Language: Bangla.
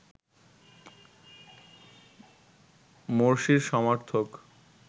মোরসির সমর্থক